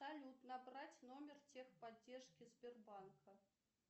салют набрать номер техподдержки сбербанка